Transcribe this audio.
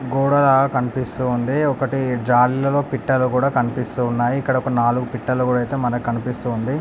గోడ లాగా కనిపిస్తుంది ఒకటి జాలరిలో పిట్టలు కూడా కనిపిస్తున్నాయి. ఇక్కడ ఒక నాగులు పిట్టలు కూడా ఐతే మనకి కనిపిస్తుంది.